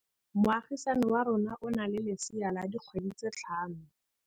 Moagisane wa rona o na le lesea la dikgwedi tse tlhano.